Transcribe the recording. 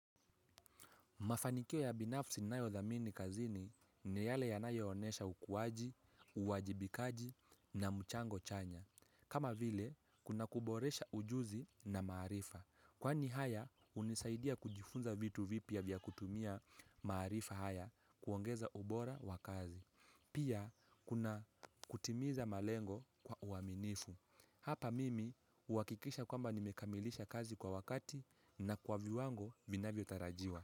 Mafanikio ya binafsi nayodhamini kazini ni yale yanayo onesha ukuaji, uwajibikaji na mchango chanya. Kama vile, kuna kuboresha ujuzi na maarifa. Kwani haya, hunisaidia kujifunza vitu vipya vya kutumia maarifa haya kuongeza ubora wa kazi. Pia, kuna kutimiza malengo kwa uaminifu. Hapa mimi, huakikisha kwamba nimekamilisha kazi kwa wakati na kwa viwango vinavyotarajiwa.